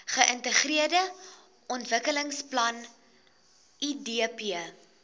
geintegreerde ontwikkelingsplan idp